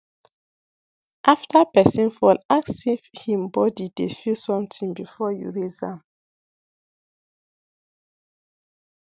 after person fall ask if hin body dey feel something before you raise am